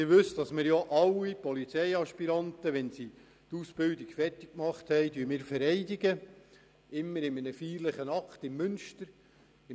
Sie wissen, dass wir alle Polizeiaspiranten nach Beendigung der Ausbildung in einem feierlichen Akt im Münster vereidigen.